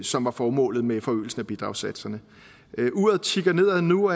som var formålet med forøgelsen af bidragssatserne uret tikker nedad nu